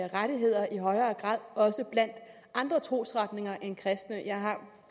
rettigheder i højere grad også blandt andre trosretninger end den kristne jeg har